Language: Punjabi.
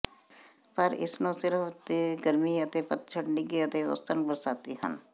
ਪਰ ਇਸ ਨੂੰ ਸਿਰਫ ਜੇ ਗਰਮੀ ਅਤੇ ਪਤਝੜ ਨਿੱਘੇ ਅਤੇ ਔਸਤਨ ਬਰਸਾਤੀ ਹਨ